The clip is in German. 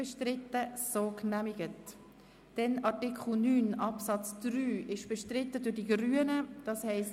Artikel 9 Absatz 3 wird seitens der Grünen bestritten;